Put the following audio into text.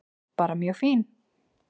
Bara mjög fín.